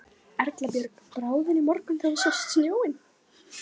Erla Björg: Brá þér í morgun þegar þú sást snjóinn?